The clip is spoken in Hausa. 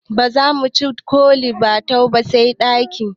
Bazamu ci ( kole batua) ba sai baɗi